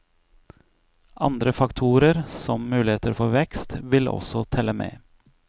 Andre faktorer, som muligheter for vekst, vil også telle med.